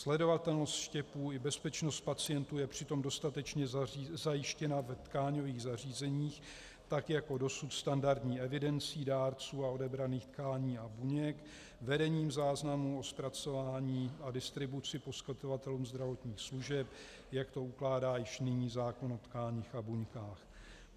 Sledovatelnost štěpů i bezpečnost pacientů je přitom dostatečně zajištěna ve tkáňových zařízeních tak jako dosud standardní evidencí dárců a odebraných tkání a buněk, vedením záznamů o zpracování a distribuci poskytovatelům zdravotních služeb, jak to ukládá již nyní zákon o tkáních a buňkách.